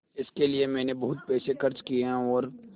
इसके लिए मैंने बहुत पैसे खर्च किए हैं और